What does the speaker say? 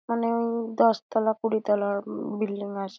মানে-এ দশতলা কুড়িতলা উম বিল্ডিং আস--